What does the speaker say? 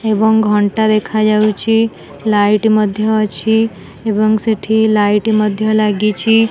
ଏବଂ ଘଣ୍ଟା ଦେଖାଯାଉଛି ଲାଇଟ୍ ମଧ୍ୟ ଅଛି ଏବଂ ସେଠି ଲାଇଟ୍ ମଧ୍ୟ ଲାଗିଛି।